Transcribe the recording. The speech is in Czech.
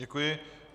Děkuji.